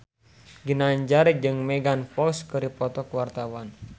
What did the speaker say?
Ginanjar jeung Megan Fox keur dipoto ku wartawan